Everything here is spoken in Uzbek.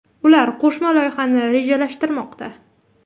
Ular qo‘shma loyihani rejalashtirmoqda.